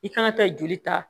I kana taa joli ta